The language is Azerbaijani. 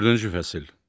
Dördüncü fəsil.